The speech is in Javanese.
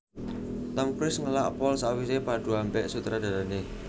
Tom Cruise ngelak pol sakwise padu ambek sutradarane